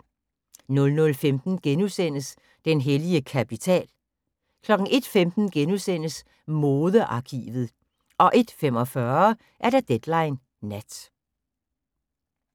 00:15: Den hellige kapital * 01:15: Modearkivet * 01:45: Deadline Nat